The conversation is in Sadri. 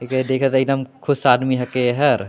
एके देखत हा एकदम खुश आदमी हे के एहर।